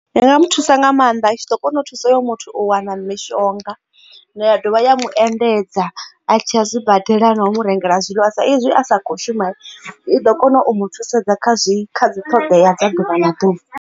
Ndi nga mu thusa nga maanḓa i tshi ḓo kona u thusa hoyo muthu u wana mishonga ya dovha ya mu endedza a tshi a zwi badela no umu rengela zwiḽiwa sa ezwi a sa kho shuma i ḓo kona u mu thusedza kha zwi kha dzi ṱhoḓea dza ḓuvha na ḓuvha.